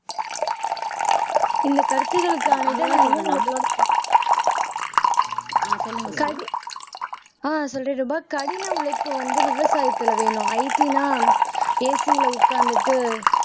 இந்த கருத்துக்களுக்கானதை நான் என்னோட கடி ஆஹ் சொல்றேன் ரூபா கடின உழைப்பு வந்து விவசாயத்துல வேணும் IT ன்னா AC ல உட்கார்ந்துட்டு